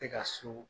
Tɛ ka so